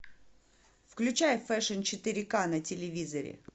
включай фэшн четыре к на телевизоре